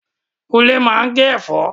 Kúnlé máa ń gé ẹ̀fọ́